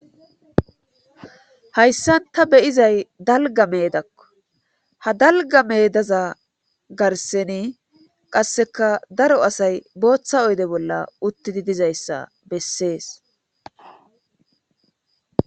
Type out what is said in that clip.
Hayssan ta beyizay dalga meedakko ha dalga medaza garseni qasseka daro asay booththa oyde bolla uttidi dizayssa bessees.